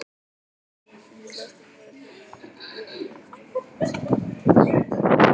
Í sléttum og virðulegum jakkafötum sem hæfðu tign hans.